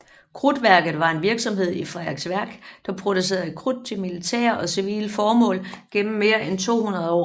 Krudtværket var en virksomhed i Frederiksværk der producerede krudt til militære og civile formål gennem mere end 200 år